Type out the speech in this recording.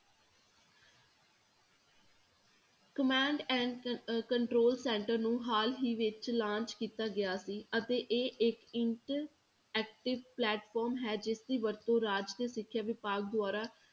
Command and ਅਹ control center ਨੂੰ ਹਾਲ ਹੀ ਵਿੱਚ launch ਕੀਤਾ ਗਿਆ ਸੀ ਅਤੇ ਇਹ ਇੱਕ interactive platform ਹੈ ਜਿਸਦੀ ਵਰਤੋਂ ਰਾਜ ਦੇ ਸਿੱਖਿਆ ਵਿਭਾਗ ਦੁਆਰਾ